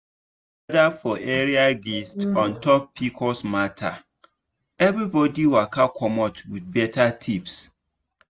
we gather for area gist on top pcos matter everybody waka commot with better tips